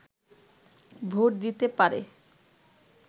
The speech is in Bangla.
ভোট দিতে পারে